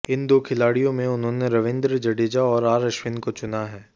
इन दो खिलाड़ियों में उन्होंने रविंद्र जडेजा और आर अश्विन को चुना है